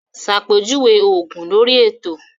Ṣàpèjúwe òògùn lórí ètò